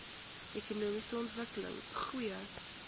ekonomiese ontwikkeling goeie